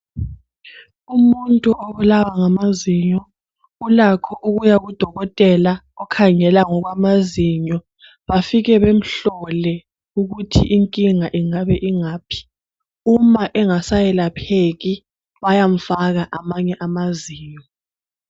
Umuntu obulawa ngamazinyo ulakho ukuya kudokotela okhangela ngokwamazinyo bafike bemhlole ukuthi inkinga ingabe ingaphi uma engasayelapheki bayamfaka amanye amazinyo.